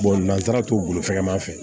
n'an taara t'u bolofɛman fɛ